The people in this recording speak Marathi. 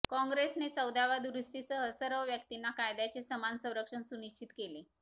काँग्रेसने चौदाव्या दुरुस्तीसह सर्व व्यक्तींना कायद्याचे समान संरक्षण सुनिश्चित केले